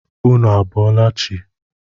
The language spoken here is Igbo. Ụnụ a bọọla chi?